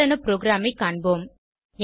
உதாரண ப்ரோகிராமைக் காண்போம்